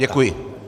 Děkuji.